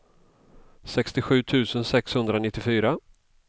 sextiosju tusen sexhundranittiofyra